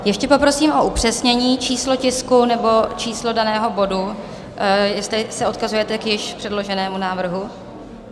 Ještě poprosím o upřesnění, číslo tisku nebo číslo daného bodu, jestli se odkazujete k již předloženému návrhu.